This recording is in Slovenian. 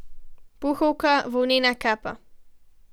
Puhovka, volnena kapa.